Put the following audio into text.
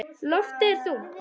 Loftið er þungt.